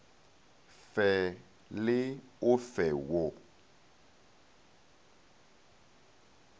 fe le o fe wo